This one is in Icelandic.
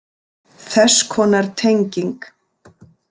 Þess konar tenging.